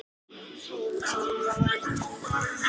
Það eru mikil læti og barátta.